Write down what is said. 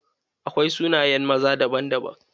Akwai sunayen maza daban-daban.